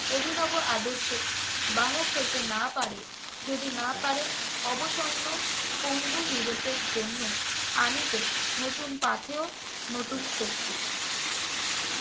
অভিনব আদর্শে বাহক হইতে না পারে, যদি না পারে অবসন্ন পঙ্গু ইউরোপের জন্য আনিতে নতুন পাথেয়, নতুন শক্তি।